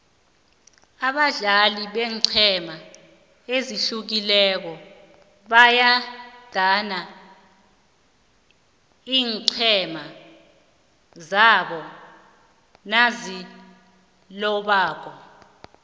abadlali beenqhema ezihlukileko bayadana iinqhema zabo nazilobako